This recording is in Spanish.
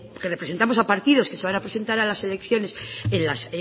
que representamos a partidos que se van a presentar a las elecciones